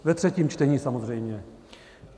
Ve třetím čtení samozřejmě.